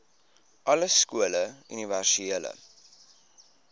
alle skole universele